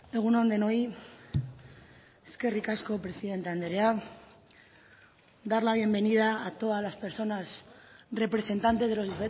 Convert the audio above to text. egun on denoi eskerrik asko presidente andrea dar la bienvenida a todas las personas representantes de los